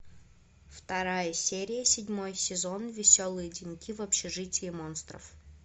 вторая серия седьмой сезон веселые деньки в общежитии монстров